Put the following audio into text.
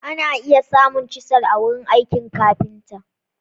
Ana iya samun chisel a wurin aikin kafinta.